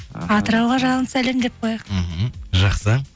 атырауға жалынды сәлем деп қояйық мхм жақсы